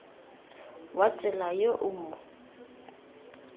wa tsela yo o mo